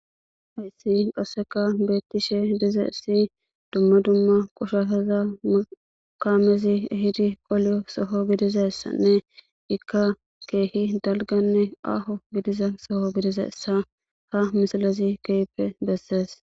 Hayssi qasseka beeththishe dizayssi dumma dumma qoshashatha kaamezi ehidi oliyo soho gidizayssanne ikka keehi dalganne aaho gidiza soho gidizayssa ha misilezi keehippe bessees.